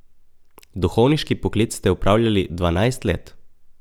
Duhovniški poklic ste opravljali dvanajst let.